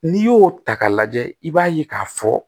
N'i y'o ta k'a lajɛ i b'a ye k'a fɔ